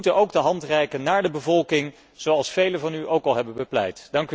We moeten ook de hand reiken naar de bevolking, zoals velen van u ook al hebben bepleit.